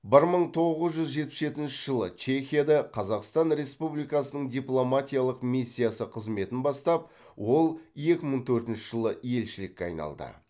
бір мың тоғыз жүз жетпіс жетінші жылы чехияда қазақстан республикасының дипломатиялық миссиясы қызметін бастап ол екі мың төртінші жылы елшілікке айналды